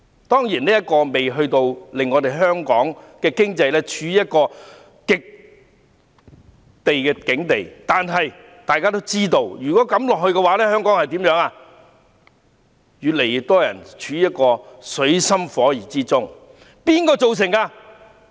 當然，這情況仍未至於令香港經濟陷入絕境，但大家也知道，如果情況持續，香港將會有越來越多人處於水深火熱之中。